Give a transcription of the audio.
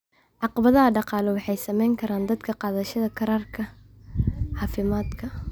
Caqabadaha dhaqaale waxay saameyn karaan dadka qaadashada kaararka caafimaadka.